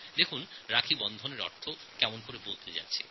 দেখুন রাখীবন্ধনের অর্থ কেমন বদলে গেছে